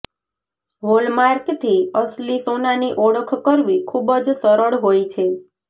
હોલમાર્કથી અસલી સોનાની ઓળખ કરવી ખૂબજ સરળ હોય છે